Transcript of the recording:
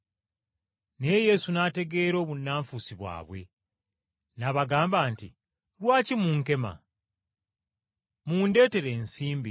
Naye Yesu n’ategeera obunnanfuusi bwabwe n’abagamba nti, “Lwaki munkema. Mundeetere ensimbi ngirabe.”